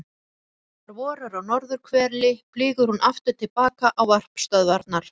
Þegar vorar á norðurhveli flýgur hún aftur til baka á varpstöðvarnar.